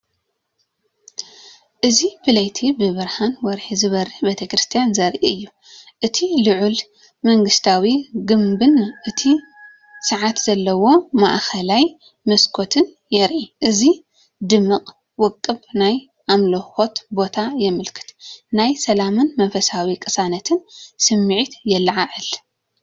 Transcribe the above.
እዚ ብለይቲ ብብርሃን ወርሒ ዝበርህ ቤተክርስትያን ዘርኢ እዩ። እቲ ልዑል መንግስታዊ ግምብን እቲ ሰዓት ዘለዎ ማእከላይ መስኮትን ይርአ፣ እዚ ድማ ውቁብ ናይ ኣምልኾ ቦታ የመልክት። ናይ ሰላምን መንፈሳዊ ቅሳነትን ስምዒት የለዓዕል።